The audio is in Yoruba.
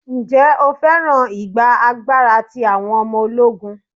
Ǹjẹ́ o féràn ìgba agbára ti àwọn ọmọ ológun?